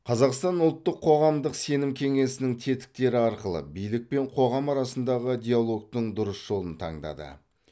қазақстан ұлттық қоғамдық сенім кеңесінің тетіктері арқылы билік пен қоғам арасындағы диалогтың дұрыс жолын таңдады